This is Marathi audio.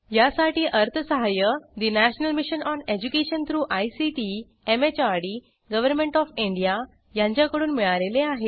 यासाठी अर्थसहाय्य national mission on education through ICT MHRD government of India यांच्याकडून मिळालेले आहे